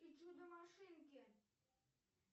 и чудо машинки